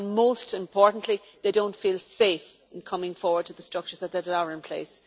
and, most importantly, they do not feel safe in coming forward to the structures that are in place.